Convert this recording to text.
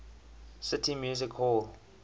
city music hall